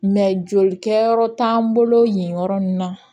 joli kɛyɔrɔ t'an bolo yen yɔrɔ min na